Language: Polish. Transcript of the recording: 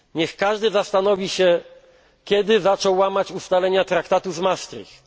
Niech każdy zastanowi się, kiedy zaczął łamać ustalenia traktatu z Maastricht.